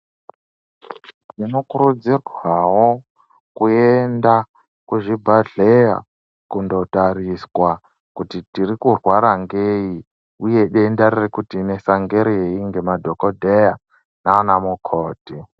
Tinokurudzirwawo kuenda kuzvibhadhleya kundotariswa kuti tiri kurwara ngei uye denda riri kutinesa ngerei ngemadhokodheya nanamukoti.